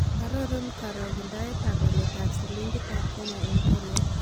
Arorun karogendoetap waletap silingiitap kenya eng' tolait